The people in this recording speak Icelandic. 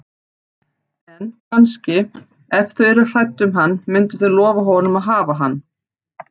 En, kannski, ef þau yrðu hrædd um hann myndu þau lofa honum að hafa hann.